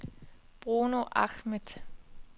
Bruno Ahmed